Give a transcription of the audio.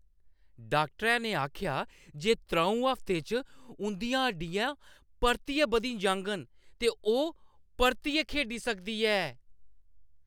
डाक्टरै ने आखेआ जे त्र'ऊं हफ्तें च उंʼदियां हड्डियां परतियै बधी जाङन ते ओह् परतियै खेढी सकदी ऐ।